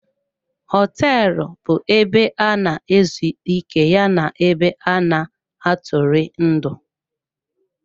Họteelụ bu ebe ana-ezu ike ya na ebe ana-atụri ndị.